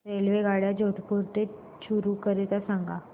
रेल्वेगाड्या जोधपुर ते चूरू करीता सांगा